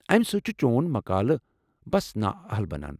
امہِ سۭتۍ چھُ چون مقالہٕ بس نااہل بنان۔